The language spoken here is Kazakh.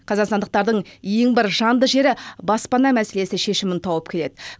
қазақстандықтардың ең бір жанды жері баспана мәселесі шешімін тауып келеді